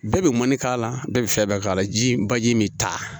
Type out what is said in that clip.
Bɛɛ bɛ mɔni k'a la bɛɛ bɛ fɛn bɛɛ k'a la ji baji min ta